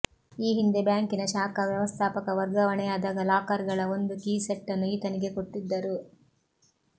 ಈ ಹಿಂದೆ ಬ್ಯಾಂಕಿನ ಶಾಖಾ ವ್ಯವಸ್ಥಾಪಕ ವರ್ಗಾವಣೆಯಾದಾಗ ಲಾಕರ್ ಗಳ ಒಂದು ಕೀ ಸೆಟ್ ನ್ನು ಈತನಿಗೆ ಕೊಟ್ಟಿದ್ದರು